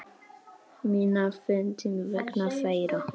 Minna fyndinn vegna þeirra.